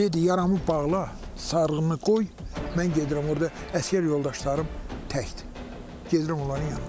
Dedi yaramı bağla, sarğımı qoy, mən gedirəm orda əsgər yoldaşlarım təkdir, gedirəm onların yanına.